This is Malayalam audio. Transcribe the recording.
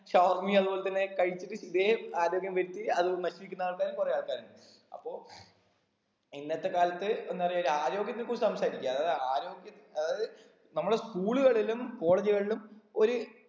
shawarma യും അതേപോലെ തന്നെ കഴിച്ചിട്ട് ഇതേ ആരോഗ്യം വച്ച് അതും നശിപ്പിക്കുന്ന ആൾക്കാരും കുറെ ആൾക്കാരുണ്ട് അപ്പൊ ഇന്നത്തെ കാലത്ത് എന്താ പറയാ ഒരാരോഗ്യത്തെ കുറിച്ച് സംസാരിക്ക അത് ആരോഗ്യ അതായത് നമ്മളെ school കളിലും college കളിലും ഒര്